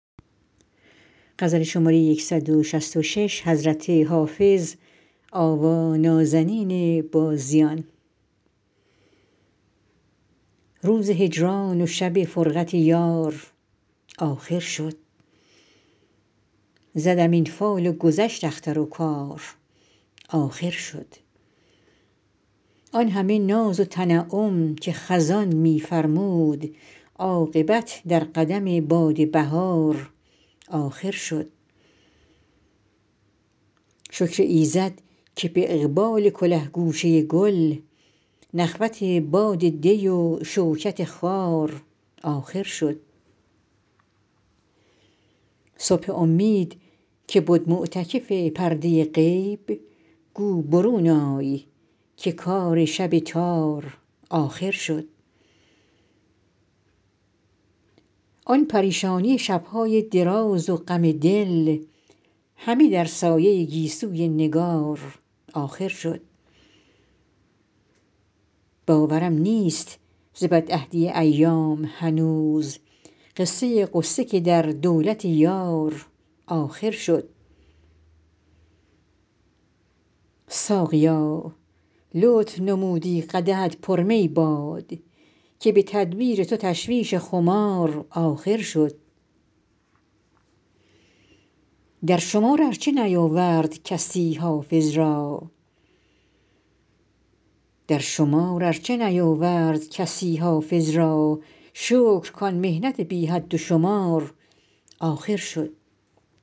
روز هجران و شب فرقت یار آخر شد زدم این فال و گذشت اختر و کار آخر شد آن همه ناز و تنعم که خزان می فرمود عاقبت در قدم باد بهار آخر شد شکر ایزد که به اقبال کله گوشه گل نخوت باد دی و شوکت خار آخر شد صبح امید که بد معتکف پرده غیب گو برون آی که کار شب تار آخر شد آن پریشانی شب های دراز و غم دل همه در سایه گیسوی نگار آخر شد باورم نیست ز بدعهدی ایام هنوز قصه غصه که در دولت یار آخر شد ساقیا لطف نمودی قدحت پر می باد که به تدبیر تو تشویش خمار آخر شد در شمار ار چه نیاورد کسی حافظ را شکر کان محنت بی حد و شمار آخر شد